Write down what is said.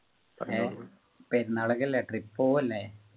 പെരുന്നാളൊക്കെ അല്ലെ trip പോവു അല്ലെ